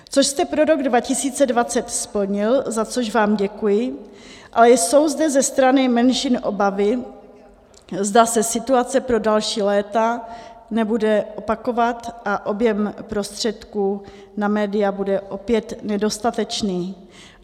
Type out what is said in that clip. Což jste pro rok 2020 splnil, za což vám děkuji, ale jsou zde ze strany menšin obavy, zda se situace pro další léta nebude opakovat a objem prostředků na média bude opět nedostatečný.